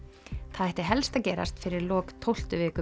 það ætti helst að gerast fyrir lok tólftu viku